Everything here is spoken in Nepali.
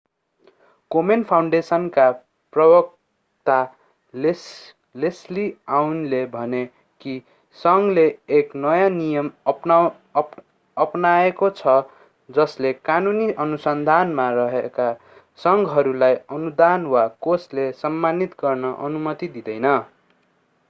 कोमेन फाउन्डेसनका प्रवक्ता लेस्ली अउनले भने कि संघले एक नयाँ नियम अपनाएको छ जसले कानूनी अनुसन्धानमा रहेका संघहरूलाई अनुदान वा कोषले सम्मानित गर्ने अनुमति दिँदैन